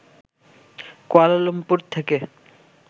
Kuala Lumpur থেকে